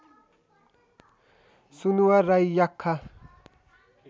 Sunuwar Rai Yakkha